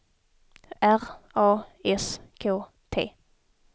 R A S K T